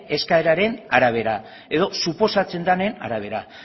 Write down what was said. eskaeraren arabera edo suposatzen danaren arabera